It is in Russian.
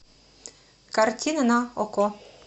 картина на окко